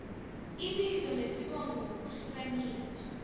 ibizo nesibongo ngokuhlukanisa